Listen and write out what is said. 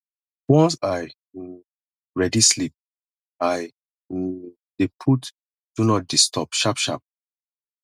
once i um ready sleep i um dey put do not disturb sharp sharp